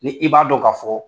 Ni i b'a dɔn k'a fɔ